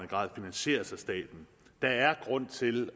grad finansieres af staten der er grund til